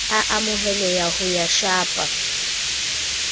a amoheleha ya ho shapa